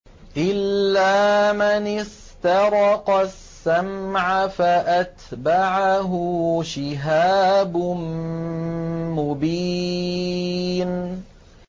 إِلَّا مَنِ اسْتَرَقَ السَّمْعَ فَأَتْبَعَهُ شِهَابٌ مُّبِينٌ